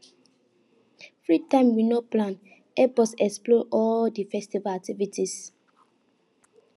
free time we no plan help us explore all di festival activities